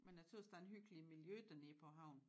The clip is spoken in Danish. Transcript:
Men a tøs der er en hyggelig miljø dernede på havn